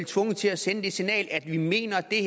tvunget til at sende det signal at vi mener det